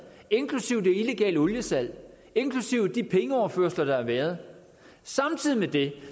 inklusive det illegale oliesalg inklusive de pengeoverførsler der har været samtidig med det